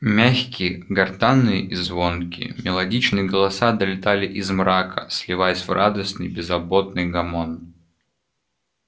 мягкие гортанные и звонкие мелодичные голоса долетали из мрака сливаясь в радостный беззаботный гомон